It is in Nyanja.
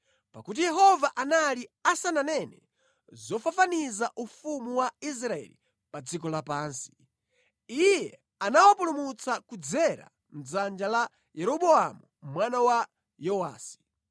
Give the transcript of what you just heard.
Pakuti Yehova anali asananene zofafaniza ufumu wa Israeli pa dziko lapansi, Iye anawapulumutsa kudzera mʼdzanja la Yeroboamu mwana wa Yowasi.